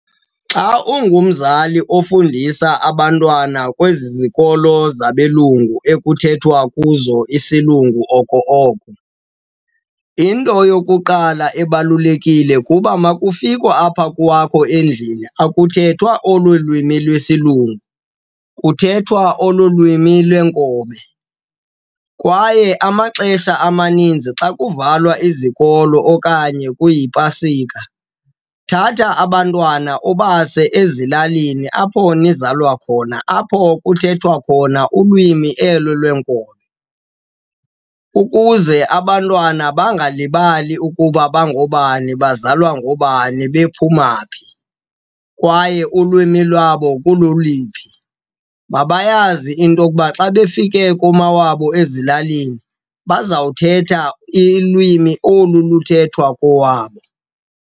Xa ungumzali ofundisa abantwana kwezi zikolo zabelungu ekuthethwa kuzo isilungu oko oko, into yokuqala ebalulekile kuba uma kufikwa apha kwakho endlini akuthethwa olu lwimi lesilungu, kuthethwa olu lwimi lweenkobe. Kwaye amaxesha amaninzi xa kuvalwa izikolo okanye kuyipasika, thatha abantwana ubase ezilalini apho nizalwa khona, apho kuthethwa khona ulwimi elo lweenkobe. Ukuze abantwana bangalibali ukuba bangobani, bazalwa ngoobani, bephuma phi kwaye ulwimi lwabo kuloliphi. Mabayazi into yokuba xa befike kumawabo ezilalini bazawuthetha ilwimi olu luthethwa kowabo.